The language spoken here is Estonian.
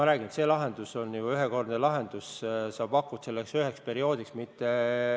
Sinu viidatud lahendus on ju ühekordne lahendus, sa pakud abi selleks üheks perioodiks.